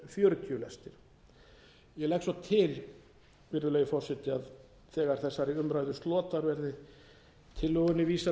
fjörutíu lestir ég legg svo til virðulegi forseti að þegar þessari umræðu slotar verði tillögunni vísað